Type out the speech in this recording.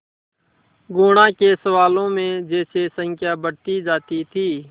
गुणा के सवालों में जैसे संख्या बढ़ती जाती थी